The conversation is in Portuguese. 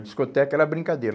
A discoteca era brincadeira.